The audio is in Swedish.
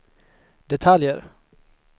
detaljer